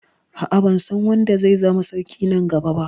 A'a, ban san wanda zai zama sarki na gaba ba.